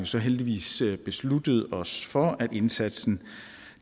så heldigvis besluttet os for at indsatsen